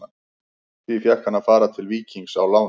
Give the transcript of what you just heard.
Því fékk hann að fara til Víkings á láni.